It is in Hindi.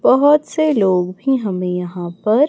बहोत से लोग भी हमें यहां पर--